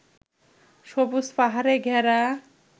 সবুজ পাহাড়ে ঘেরা